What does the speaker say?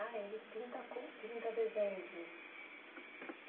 Ah, ele pinta com pinta desenhos mesmo.